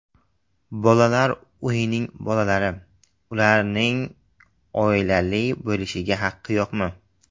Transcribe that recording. Bolalar uyining bolalari: Ularning oilali bo‘lishga haqqi yo‘qmi?.